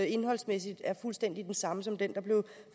indholdsmæssigt er fuldstændig det samme som det der blev